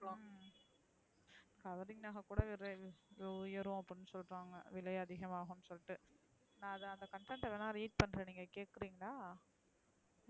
covering நக கூட விலை உயரம் அப்டின்னு சொல்றாங்க விலை அதிகமாகும் சொல்ட்டு நான் அந்த பக்கத்த வேணுனா read பண்றேன் நீங்க கேக்குரிங்களா